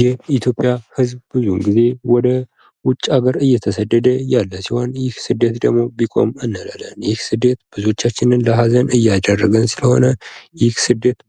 የኢትዮጵያ ህዝቦች ብዙ ጊዜ ወደ ውጭ አገር እየተሰደደ ያለ ሲሆን ይህ ስደት ደግሞ ቢቆም እንላለን። ይህ ስደት ብዙዎቻችንን ለሐዘን እያዳረገን ስለሆነ